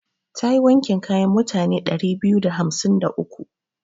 Ta yi wankin kayan mutane ɗari biyu da hamsin da uku.